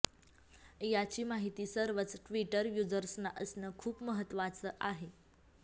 याची माहिती सर्वच ट्वीटर युजर्सना असणं खूप महत्वाचं आहे